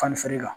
Fani feere la